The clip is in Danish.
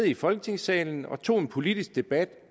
i folketingssalen og tog en politisk debat